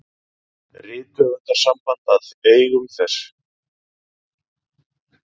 Rithöfundasamband að eigum þess.